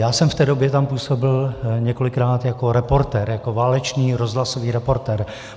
Já jsem v té době tam působil několikrát jako reportér, jako válečný rozhlasový reportér.